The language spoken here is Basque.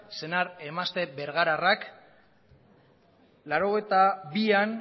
senar emazte bergararrak mila bederatziehun eta laurogeita bian